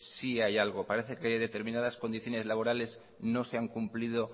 sí hay algo parece que hay determinadas condiciones laborales no se han cumplido